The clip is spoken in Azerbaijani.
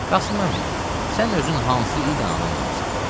Qasım əmi, sən özün hansı ildə anadan olmusan?